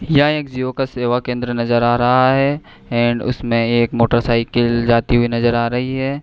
यह एक जिओ का सेवा केंद्र नजर आ रहा है एण्ड उसमें एक मोटरसाइकिल जाती हुई नजर आ रही है।